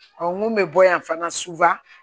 mun bɛ bɔ yan fana